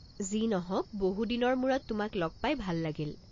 যি নহওক, বহু দিনৰ মূৰত তোমাক লগ পাই ভাল লাগিল।